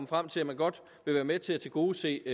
frem til at man godt vil være med til at tilgodese